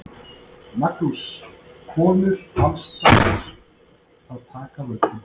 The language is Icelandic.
Magnús: Konur alls staðar að taka völdin?